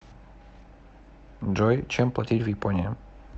джой чем платить в японии